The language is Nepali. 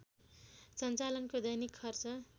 सञ्चालनको दैनिक खर्च